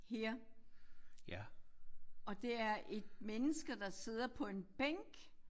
Her og det er et mennesker der sidder på en bænk